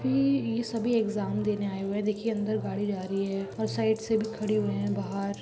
काफी ये सभी एक्जाम देने आए हुए है देखिए अंदर गाड़ी जा रही है और साइड से भी खड़ी हुए है बाहर।